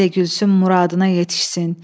El də gülsün muradına yetişsin.